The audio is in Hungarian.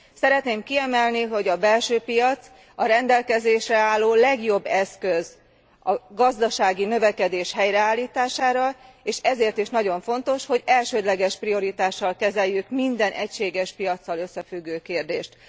Szeretném kiemelni, hogy a belső piac a rendelkezésre álló legjobb eszköz a gazdasági növekedés helyreállítására, és ezért is nagyon fontos, hogy elsődleges prioritással kezeljünk minden egységes piaccal összefüggő kérdést.